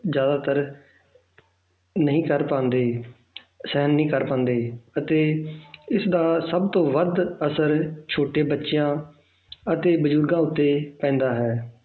ਜ਼ਿਆਦਾਤਰ ਨਹੀਂ ਕਰ ਪਾਉਂਦੇ ਸਹਿਣ ਨਹੀਂ ਕਰ ਪਾਉਂਦੇ ਅਤੇ ਇਸ ਦਾ ਸਭ ਤੋਂ ਵੱਧ ਅਸਰ ਛੋਟੇ ਬੱਚਿਆਂ ਅਤੇ ਬਜ਼ੁਰਗਾਂ ਉੱਤੇ ਪੈਂਦਾ ਹੈ